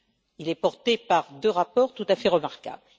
Il est porté par deux rapports tout à fait remarquables.